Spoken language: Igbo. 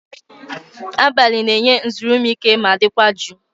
Abalị na-enye nzuru m ike ma dịkwa jụụ.